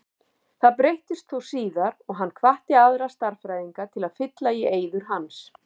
Það breyttist þó síðar og hann hvatti aðra stærðfræðinga til að fylla í eyður hans.